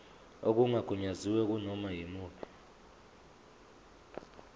okungagunyaziwe kunoma yimuphi